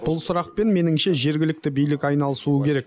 бұл сұрақпен меніңше жергілікті билік айналысуы керек